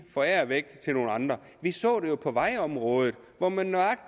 forære væk til nogle andre vi så det jo på vejområdet hvor man